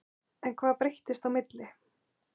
En hvað breyttist á milli?